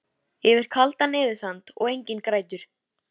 Yfir kaldan eyðisand og Enginn grætur